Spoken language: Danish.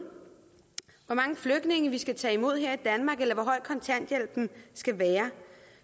hvor mange flygtninge vi skal tage imod her i danmark eller hvor høj kontanthjælpen skal være